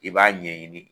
I b'a ɲɛɲini